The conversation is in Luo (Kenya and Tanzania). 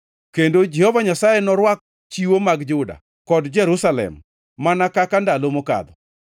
kendo Jehova Nyasaye norwak chiwo mag Juda kod Jerusalem mana kaka ndalo mokadho.